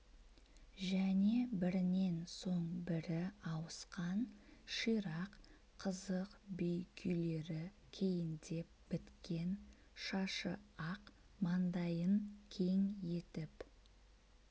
және бірінен соң бірі ауысқан ширақ қызық би күйлері кейіндеп біткен шашы ақ мандайын кең етіп